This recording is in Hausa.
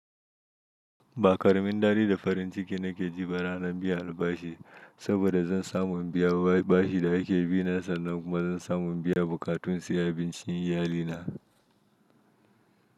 Ba ƙaramin daɗi da farin ciki na ke ji ranar biyan albashi, saboda zan samu in biya bashi da ake bi na sannan kuma zan samu in biya bukatun sayan abincin iyalina.